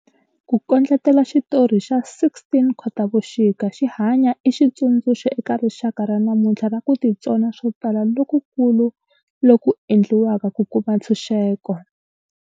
Ku kondletela xitori xa 16 Khotavuxika xi hanya i xitsundzuxo eka rixaka ra namuntlha xa ku titsona swo tala lokukulu loku endliweke ku kuma ntshunxeko.